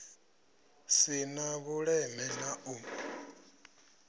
si na vhuleme na u